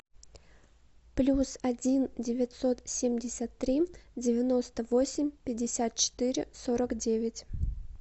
плюс один девятьсот семьдесят три девяносто восемь пятьдесят четыре сорок девять